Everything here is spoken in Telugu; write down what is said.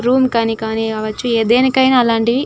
రూమ్ కి యినా కావచ్చు కానీ దేనికైనా అలాంటివి --